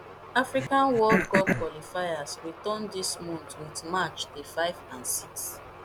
african world cup qualifiers return dis month wit match day five and six